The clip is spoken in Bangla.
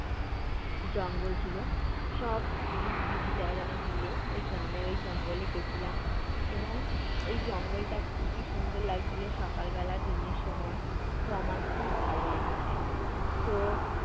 জঙ্গল ছিলো। সব আমি আর দিদি যারা যারা মিলে ওই গ্রামের ওই জঙ্গলে গেছিলাম এবং ওই জঙ্গলটা খুবই সুন্দর লাগছিলো সকাল বেলা দিনের সময়। তো আমার খুব ভালো লেগেছে। তো